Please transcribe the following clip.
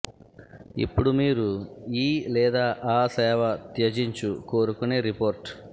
ఇప్పుడు మీరు ఈ లేదా ఆ సేవ త్యజించు కోరుకునే రిపోర్ట్